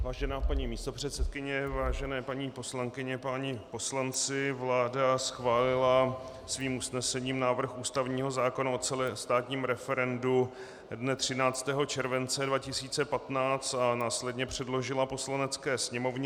Vážená paní místopředsedkyně, vážené paní poslankyně, páni poslanci, vláda schválila svým usnesením návrh ústavního zákona o celostátním referendu dne 13. července 2015 a následně předložila Poslanecké sněmovně.